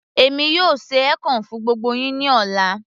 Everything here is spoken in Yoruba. èmi yóò ṣe ekong fún gbogbo yín ní ọ̀la